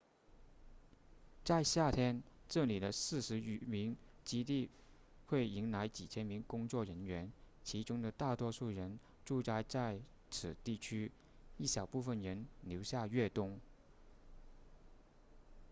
在夏天这里的四十余个基地会迎来几千名工作人员其中的大多数人驻扎在此地区一小部分人留下越冬